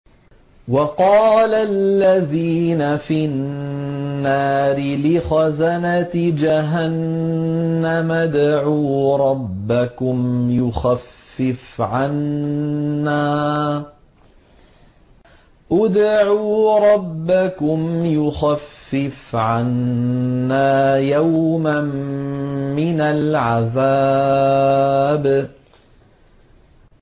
وَقَالَ الَّذِينَ فِي النَّارِ لِخَزَنَةِ جَهَنَّمَ ادْعُوا رَبَّكُمْ يُخَفِّفْ عَنَّا يَوْمًا مِّنَ الْعَذَابِ